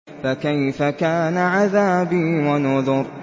فَكَيْفَ كَانَ عَذَابِي وَنُذُرِ